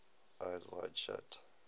eyes wide shut